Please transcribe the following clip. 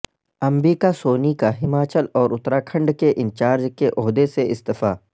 امبیکا سونی کا ہماچل اور اتراکھنڈ کے انچارج کے عہدے سے استعفی